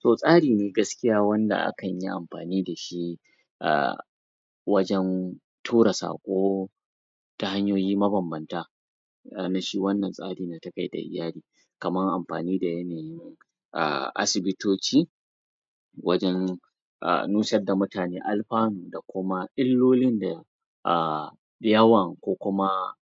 To tsari gaskiya wanda akan yi amfani da shi a wajen tura saƙo ta hanyoyi mabambanta shi wannan tsari na tafiyar da iyali kamar amfani da yanayi na a asibitoci wajen a nusar da mutane alfanu da kuma illolin da a yawan ko kuma